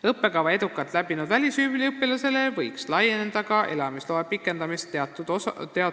Õppekava edukalt läbinud välisüliõpilasele võiks laieneda ka elamisloa pikendamine teatud aja [...